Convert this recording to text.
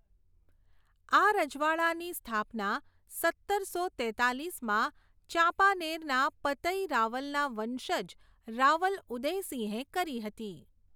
આ રજવાડાની સ્થાપના સત્તરસો તેતાલીસમાં ચાંપાનેરના પતઈ રાવલના વંશજ રાવલ ઉદેયસિંહે કરી હતી.